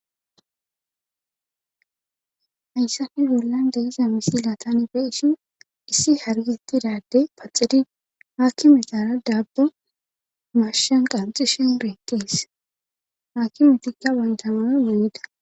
hayssafi zulan daiza misilatanibeishin issi hargetidade paxidi haakki mitara daabba mashan qanxi shen beeqis haakimetikka wandamana uunida